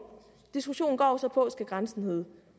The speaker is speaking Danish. diskussionen går jo så på skal grænsen hedde